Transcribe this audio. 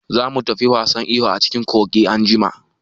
Za mu tafi wasan iyo a cikin kogi anjima.